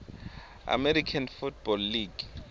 american football league